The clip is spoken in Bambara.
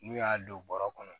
N'u y'a don bɔrɔ kɔnɔ